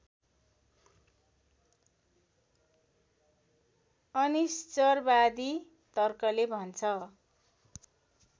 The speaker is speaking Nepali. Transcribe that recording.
अनीश्वरवादी तर्कले भन्छ